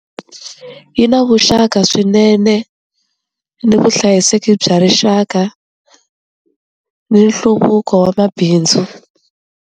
Yi na vuxaka swinene ni vuhlayiseki bya rixaka ni nhluvuko wa mabindzu.